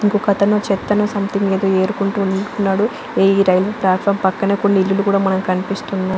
ఇంకొకతను చేతను సొమెథింగ్ ఏదో ఏరుకుంటూ ఉంటున్నాడు ఈ రైల్ ఫ్లటుఫార్మ్ మీద కొన్ని ఇల్లు కూడా కనిపిస్తున్నాయి .